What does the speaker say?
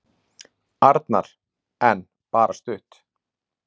Arnar: En bara stutt.